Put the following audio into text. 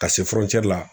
Ka se la